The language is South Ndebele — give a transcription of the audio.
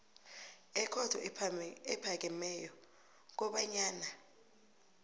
ekhotho ephakemeko kobanyana